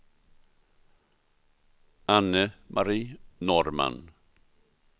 Anne-Marie Norrman